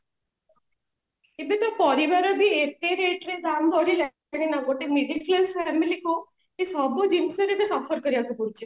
ଏବେ ସେ ପରିବା ର ବି ଏତେ rate ରେ ଦାମ ଧରିଲାଣି ଗୋଟେ middle class family କୁ ଏଇ ସବୁ ଜିନିଷରେ ସେ suffer କରିବାକୁ ଦଉଛନ୍ତି